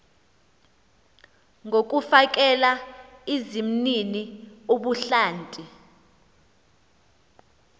ngokufakela izimnini ubuhlanti